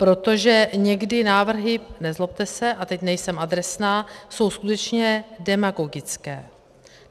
Protože někdy návrhy, nezlobte se, a teď nejsem adresná, jsou skutečně demagogické.